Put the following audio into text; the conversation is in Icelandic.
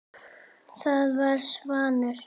Það var Svanur.